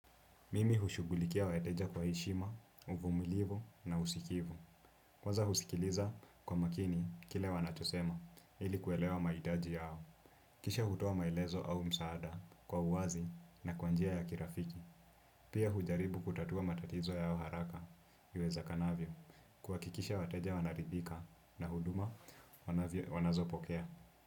Mimi hushughulikia wateja kwa heshima, uvumilivu na usikivu. Kwanza husikiliza kwa makini kile wanachosema ili kuelewa mahitaji yao. Kisha hutoa maelezo au msaada kwa uwazi na kwa njia ya kirafiki. Pia hujaribu kutatua matatizo yao haraka iwezekanavyo. Kuhakikisha wateja wanaridhika na huduma wanazopokea.